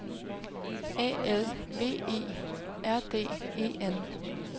A L V E R D E N